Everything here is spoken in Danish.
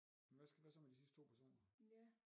Hvad skal hvad så med de sidste 2 personer